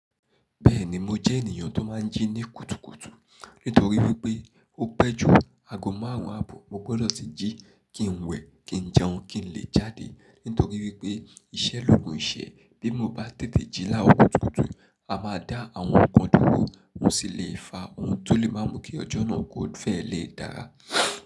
Bẹ́ẹ̀ni mo jẹ́ ènìyàn tó máa ń jí ní kùtùkùtù. Nítorí wípé ó pẹ́ jù ago márùn-ún àbọ̀ mo gbọdọ̀ tì jí kí n wẹ̀, kí n jẹun, kí n lè jáde. Nítorí wípé iṣẹ́ lògun ìṣẹ́ bí mo bá tètè jí láàrò kùtùkùtù, a máa dá àwọn ọkọ̀ dúró, òun sì le fa ohun tó lè má mú kí ọjọ́ náà kò fẹ́ lè dára.